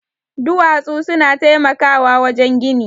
Duwatsu suna taimakawa wajen gini